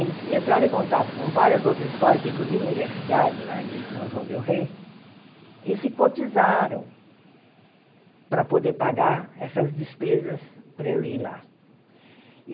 Eles entraram em contato com várias outras escolas, inclusive universidade lá de São João Del Rey, e se cotizaram para poder pagar essas despesas para eu ir lá.